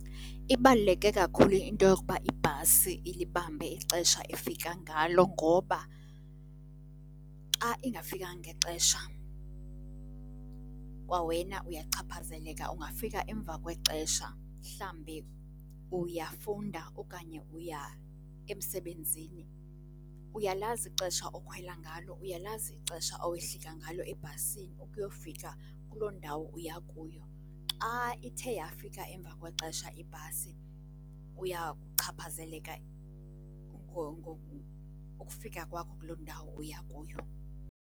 Ibaluleke kakhulu into yokuba ibhasi ilibambe ixesha efika ngalo ngoba xa ingafikanga ngexesha kwa wena uyachaphazeleka, ungafika emva kwexesha. Mhlambi uyafunda okanye uya emsebenzini, uyalazi ixesha okhwela ngalo, uyalazi ixesha owehlika ngalo ebhasini ukuyofika kuloo ndawo uya kuyo, xa ithe yafika emva kwexesha ibhasi uyachaphazeleka ukufika kwakho kuloo ndawo uya kuyo.